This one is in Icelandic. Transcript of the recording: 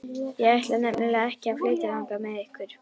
Ég ætla nefnilega ekki að flytja þangað með ykkur.